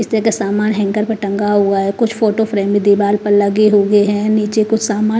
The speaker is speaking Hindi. इस्त्री का सामान हैंगर पे टंगा हुआ है कुछ फोटो फ्रेम भी दीवार पर लगे हुए हैं नीचे कुछ सामान--